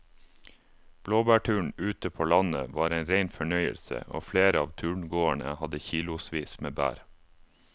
Blåbærturen ute på landet var en rein fornøyelse og flere av turgåerene hadde kilosvis med bær.